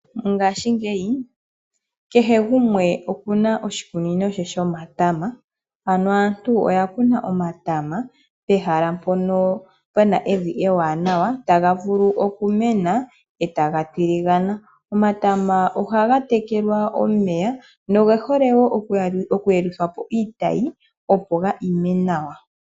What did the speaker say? Ngashi ngeyi kehe gumwe okuna oshikunino she shomatama, aantu oya kuna omatama pehala mpono puna evi ewanawa taga vulu okumena etaga tiligana. Omatama ohaga tekelwa omeya noge hole oku yeluthwapo iitayi opo ga ime nawa.